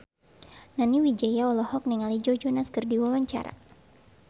Nani Wijaya olohok ningali Joe Jonas keur diwawancara